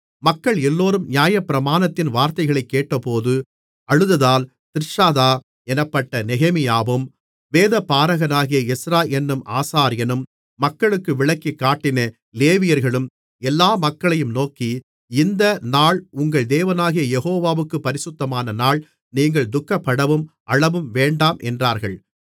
மக்கள் எல்லோரும் நியாயப்பிரமாணத்தின் வார்த்தைகளைக் கேட்டபோது அழுததால் திர்ஷாதா என்னப்பட்ட நெகேமியாவும் வேதபாரகனாகிய எஸ்றா என்னும் ஆசாரியனும் மக்களுக்கு விளக்கிக்காட்டின லேவியர்களும் எல்லா மக்களையும் நோக்கி இந்த நாள் உங்கள் தேவனாகிய யெகோவாவுக்குப் பரிசுத்தமான நாள் நீங்கள் துக்கப்படவும் அழவும் வேண்டாம் என்றார்கள்